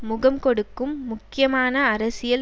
முகம் கொடுக்கும் முக்கியமான அரசியல்